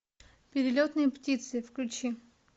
перелетные птицы включи